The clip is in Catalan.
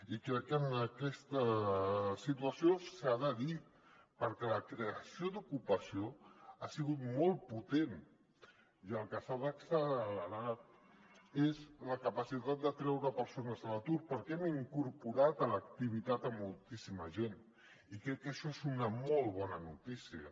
i crec que en aquesta situació s’ha de dir perquè la creació d’ocupació ha sigut molt potent i el que s’ha d’accelerar és la capacitat de treure persones de l’atur perquè hem incorporat a l’activitat moltíssima gent i crec que això és una molt bona notícia